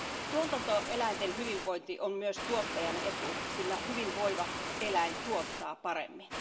Tuotantoeläinten hyvinvointi on myös tuottajan etu, sillä hyvinvoiva eläin tuottaa paremmin.